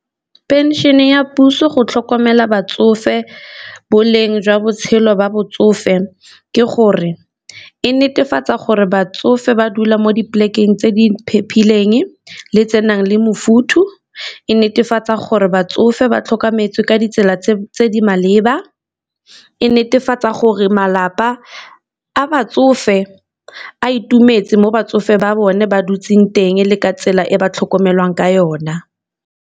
Pension-e ya puso go tlhokomela batsofe boleng jwa botshelo ba botsofe ke gore e netefatsa gore batsofe ba dula mo di-plek-eng tse di le tse nang le mofutho, e netefatsa gore batsofe ba tlhokometswe ka ditsela tse di maleba, e netefatsa gore malapa a batsofe a itumetse mo batsofe ba bone ba dutse teng le ka tsela e ba tlhokomelwang ka yona.